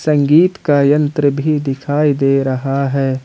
संगीत का यंत्र भी दिखाई दे रहा है।